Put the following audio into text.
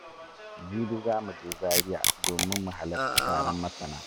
Jibi za mu je Zariya domin mu halarci taron masana.